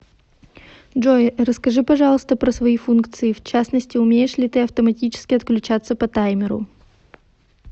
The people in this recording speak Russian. джой расскажи пожалуйста про свои функции в частности умеешь ли ты автоматически отключаться по таймеру